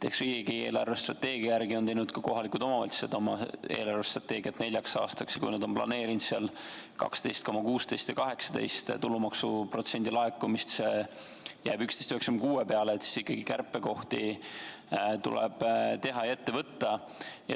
Eks riigi eelarvestrateegia järgi on teinud ka kohalikud omavalitsused oma eelarvestrateegia neljaks aastaks ja kui nad on planeerinud seal 12,16 ja 12,18 tulumaksuprotsendi laekumist ja see jääb 11,96 peale, et siis ikkagi kärpekohti tuleb teha ja ette võtta.